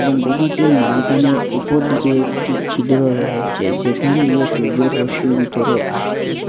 গুহাটির মাঝখানে উপর দিকে একটি ছিদ্র রয়েচে যেখান দিয়ে সূর্যর রশ্মি বিতরে আসতেছে।